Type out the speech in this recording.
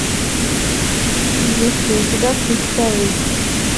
есть ли у тебя крик совы